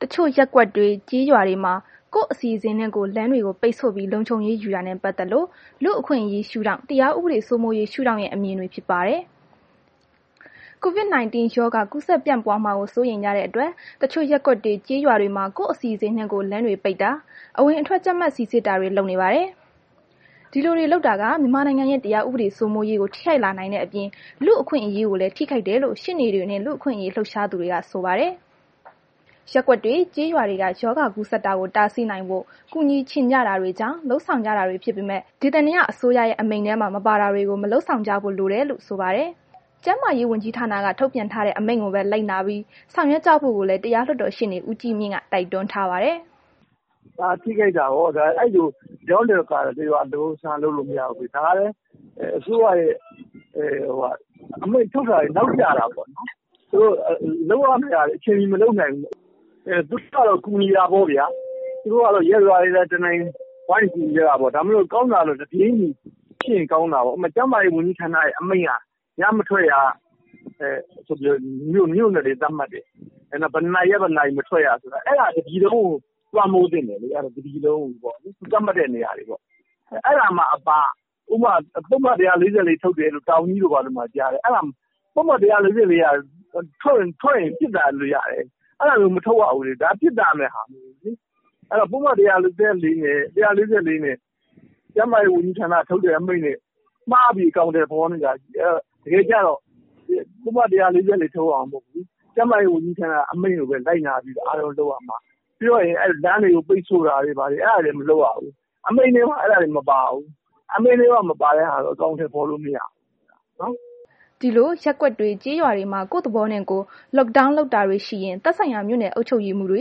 တချို့ ရပ်ကွက်တွေ၊ ကျေးရွာတွေမှာ ကိုယ့်အစီအစဉ်နဲ့ကိုယ် လမ်းတွေကို ပိတ်ဆို့ လုံခြုံရေးယူတာနဲ့ ပတ်သက်လို့ လူ့အခွင့်အရေးရှုဒေါင့်၊ တရားဥပဒေ စိုးမိုးရေးရှုဒေါင့်ရဲ့အမြင်တွေကို ဗွီအိုအေမြန်မာပိုင်း သတင်းထောက် မအိမ့်သန္တာထွန်းက ပြောပြပေးပါမယ်။ COVID-19 ရောဂါကူးစက်ပြန့်ပွားမှာကို စိုးရိမ်ကြတဲ့ အတွက် တချို့ရပ်ကွက်တွေ ကျေးရွာတွေမှာ ကိုယ့်အစီအစဉ်နဲ့ကိုယ် လမ်းတွေပိတ်တာ၊ အဝင်အထွက် ကြပ်မတ်စီစစ်တာတွေ ရှိနေပါတယ်။ ဒီလိုတွေလုပ်တာက မြန်မာနိုင်ငံရဲ့ တရားဥပဒေစိုးမိုးရေးကို ထိခိုက်လာနိုင်တဲ့အပြင် လူ့အခွင့်အရေးကိုလည်း ထိခိုက်တယ်လို့ ရှေ့နေတွေနှင့် လူ့အခွင့်အရေး လှုပ်ရှားသူတွေက ဆိုပါတယ်။ ရပ်ကွက် ကျေးရွာတွေက ရောဂါကူးစက်တာကို တားဆီးနိုင်ဖို့ ကူညီချင်ကြတာတွေကြောင့် လုပ်ဆောင်ကြတာတွေဖြစ်ပေမယ့် ဒေသန္တရအစိုးရရဲ့အမိန့်ထဲမှာ မပါတာတွေကို မလုပ်ဆောင်ကြဖို့လိုတယ် လို့ဆိုပါတယ်။ ကျန်းမာရေး ဝန်ကြီးဌာနက ထုတ်ပြန်ထားတဲ့ အမိန့်ကိုပဲ လိုက်နာပြီး ဆောင်ရွက်ကြဖို့ကိုလည်း တရားလွှတ်တော် ရှေ့နေဦးကြီးမြင့်က တိုက်တွန်းထားပါတယ်။ “ဟာ..ထိခိုက်တာပေါ့ တကျောင်း တဂါထာ တရွာတပုဒ်ဆန်း လုပ်လို့မရဘူးလေ...ဒါကလည်း အစိုးရရဲ့ အမိန့်ထုတ်တာတွေ နောက်ကျတာပေါ့။ လုပ်ရမယ့်ဟာတွေ အချိန်မှီ မလုပ်နိုင်ဘူး။ သူတို့ကတော့ ကူညီတာပေါ့ဗျာ၊ ရပ်ရွာတွေက တနိုင်တပိုင်ကူညီကြတာပေါ့။ ကောင်းတာကတော့ တပြေးညီ ဖြစ်ရင် ကောင်းတာပေါ့။ ကျန်းမာရေး ဝန်ကြီးဌာနရဲ့ အမိန့်က ညမထွက်ရဆိုပြီး မြို့နယ်တွေ သတ်မှတ်တယ်။ ဘယ်နှစ်နာရီက ဘယ်နှစ်နာရီ မထွက်ရဆိုတာ အဲ့ဒါက တစ်ပြည်လုံးကို လွှမ်းမိုးသင့်တယ်လေ။ သတ်မှတ်တဲ့နေရာတွေပေါ့။ အဲ့ဒါမှ အပ ဥပမာ ပုဒ်မ ၁၄၄ ထုတ်တယ်တို့ တောင်ကြီးတို့ ဘာတို့မှာကြားတယ်။ အဲ့ဒါက အပြင်ထွက်ရင် အရေးယူလို့ရတယ်။ အဲ့ဒါမျိုး မထုတ်ရဘူးလေ။ ဒါက ပြစ်ဒဏ်ပဲဟာ။ အဲ့တော့ ပုဒ်မ ၁၄၄ နှင့် ကျန်းမာရေးဝန်ကြီးဌာနက ထုတ်တဲ့ အမိန့်နှင့် မှားပြီး အကောင်အထည်ဖော်နေကြတယ်။ တကယ်က ပုဒ်မ ၁၄၄ ထုတ်ရမှာ မဟုတ်ဘူး။ ကျန်းမာရေး ဝန်ကြီးဌာနက အမိန့်ကိုပဲ လိုက်နာပြီး အားလုံးလုပ်ရမှာ။ ပြောရရင် လမ်းတွေပိတ်ဆိုတာတွေဘာတွေ အဲ့တာတွေက မလုပ်ရဘူး။ အမိန့်ထဲမှာ အဲ့ဒါတွေ မပါဘူး။ အမိန်ထဲမှာ မပါတဲ့ ဟာတွေကို အကောင်အထည်ဖော်လို့မရဘူး။” ဒီလို ရပ်ကွက်တွေ ကျေးရွာတွေမှာ ကိုယ့်သဘောနှင့်ကိုယ် Lockdown လုပ်တာတွေ ရှိရင် သက်ဆိုင်ရာ မြို့နယ်အုပ်ချုပ်ရေးမှူးတွေ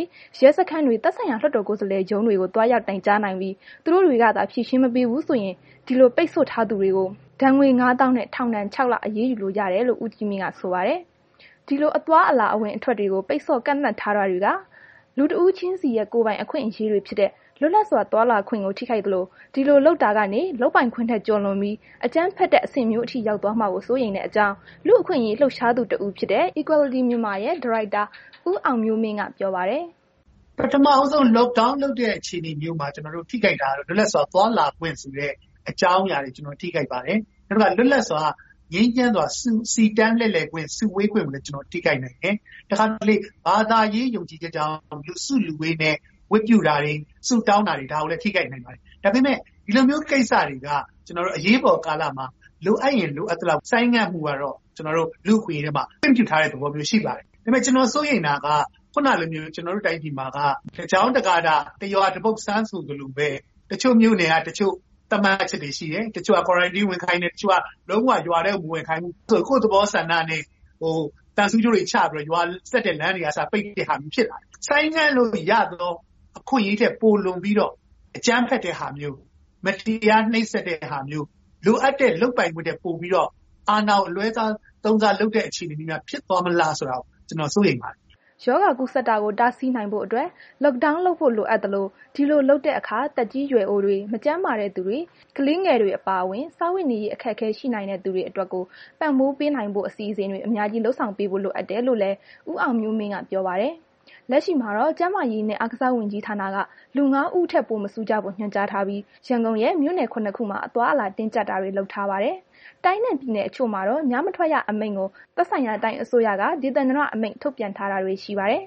၊ ရဲစခန်းတွေ၊ သက်ဆိုင်ရာ လွှတ်တော်ကိုယ်စားလှယ်ရုံးတွေကို သွားရောက်တိုင်ကြားနိုင်ပြီး သူတို့တွေကသာ ဖြေရှင်းမပေးဘူး ဆိုရင် ဒီလို ပိတ်ဆို့ထားသူတွေကို ဒဏ်ငွေ ၅၀,၀၀၀ နှင့် ထောင်ဒဏ် ၆ လ အရေးယူလို့ရတယ်လို့ ဦးကြီးမြင့်က ဆိုပါတယ်။ ဒီလို အသွားအလာ အဝင်အထွက်တွေကို ပိတ်ဆို့ကန့်သတ်ထားတာတွေက လူတစ်ဦးချင်းစီရဲ့ ကိုယ်ပိုင်အခွင့်အရေးတွေဖြစ်တဲ့ လွတ်လပ်စွာ သွားလာခွင့်ကို ထိခိုက်သလို ဒီလိုလုပ်တာကနေ လုပ်ပိုင်ခွင့်ထက် ကျော်လွန်ပြီးတော့ အကြမ်းဖက်တဲ့ အဆင့်မျိုးထိ ရောက်သွားမှာကို စိုးရိမ်တဲ့ အကြောင်း လူအခွင့်အရေး လှုပ်ရှားသူတဦးဖြစ်တဲ့ Equality Myanmar ရဲ့ ဒါရိုက်တာ ဦးအောင်မျိုးမင်းက ပြောပါတယ်။ “ပထမ ဦးဆုံး Lock Down လုပ်တဲ့ အခြေအနေမျိုးမှာ ထိခိုက်နိုင်တာက လွတ်လပ်စွာ သွားလာခွင့်ဆိုတဲ့ အကြောင်းအရာတွေထိခိုက်ပါတယ်။ နောက်တစ်ခါ လွတ်လပ်စွာ ငြိမ်းချိမ်းစွာ စီတန်းခွင့် စုဝေးလှည့်လည်ခွင့်ကို ထိခိုက်ပါတယ်။ တစ်ခါတစ်လေ ဘာသာရေး ယုံကြည်ချက်ကြောင့် လူစုလူဝေးနဲ့ ဝတ်ပြုတာတွေ ဆုတောင်းတာတွေ ဒါကိုလည်း ထိခိုက်နိုင်ပါတယ်။ ဒါပေမယ့် ဒီလိုမျိုး ကိစ္စတွေက ကျနော်တို့ အရေးပေါကာလမှာ လိုအပ်ရင် လိုအပ်သလောက်ဆိုင်းငံ့မှုကတော့ လူ့အခွင့်အရေးထဲမှာ ခွင့်ပြုထားတဲ့ သဘောရှိပါတယ်။ ဒါပေမဲ့ ကျနော် စိုးရိမ်တာက ခုနကလိုမျိုး ကျနော်တို့တိုင်းပြည်မှာက တစ်ကျောင်း၊ တစ်ဂါထာ၊ တစ်ရွာ တစ်ပုဒ်ဆန်းဆိုသလိုပဲ တချို့မြို့နယ်က တချို့သတ်မှတ်ချက်တွေရှိတယ်။ တချို့က Quarantine ဝင်ခိုင်းတယ်။ တချို့က လုံးဝ ရွာထဲကို မဝင်ခိုင်းဘူး။ ကိုယ့်သဘောဆန္ဒနဲ့ သံဆူးကြိုးတွေချပြီးတော့ ရွာဆက်တဲ့ လမ်းတွေကအစ ပိတ်တာမျိုးတွေ ဖြစ်လာတယ်။ ဆိုင်းငံ့လို့ရတဲ့ အခွင့်အရေးထက် ပိုလွန်ပြီးတော့ အကြမ်းဖက်တဲ့ ဟာမျိုး မတရားနှိပ်စက်တဲ့ ဟာမျိုး၊ လိုအပ်တဲ့ လုပ်ပိုင်ခွင့်ထက်ပိုပြီးတော့ အာဏာကို အလွဲသုံးစား လုပ်တဲ့ အခြေအနေမျိုးများ ဖြစ်သွားမလားဆိုပြီးတော့ ကျနော်စိုးရိမ်ပါတယ်။” ရောဂါကူးစက်တာကို တားဆီးနိုင်ဖို့အတွက် Lockdown လုပ်ဖို့ လိုအပ်သလို ဒီလို လုပ်တဲ့ အခါ သက်ကြီးရွယ်အိုတွေ၊ မကျန်းမာတဲ့သူတွေ ကလေးငယ်တွေ အပါအဝင် စားဝတ်နေရေး အခက်အခဲရှိနိုင်တဲ့ သူတွေအတွက်ကို ပံ့ပိုးပေးနိုင်ဖို့ အစီအစဉ်တွေ အများကြီး လုပ်ဆောင်ပေးဖို့ လိုအပ်တယ်လို့လည်း ဦးအောင်မျိုးမင်းက ပြောပါတယ်။ လက်ရှိမှာတော့ ကျန်းမာရေးနှင့် အားကစားဝန်ကြီးဌာနက လူ ၅ ဦးထက်ပို မစုကြဖို့ ညွှန်ကြားထားပြီး ရန်ကုန်ရဲ့ မြို့နယ် ၇ ခုမှာ အသွားအလာ တင်းကြပ်တာတွေလုပ်ထားပါတယ်။ တိုင်းနှင့်ပြည်နယ် အချို့မှာတော့ ညမထွက်ရ အမိန့်ကို သက်ဆိုင်ရာ တိုင်းအစိုးရက ဒေသန္တရ အမိန့် ထုတ်ပြန်ထားတာတွေ ရှိပါတယ်။